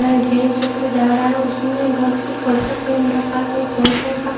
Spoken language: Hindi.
जेंट्स उधर जा रहा है उसने धोती कुर्ता पहन रखा है कुर्ते का--